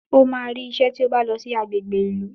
Ó máa rí isẹ́ tí ó bá lọ sí agbègbè ìlú